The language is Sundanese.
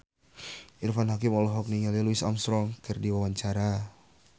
Irfan Hakim olohok ningali Louis Armstrong keur diwawancara